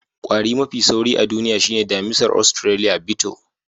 Kwari mafi sauri a duniya shine damisar Australiya Beetle.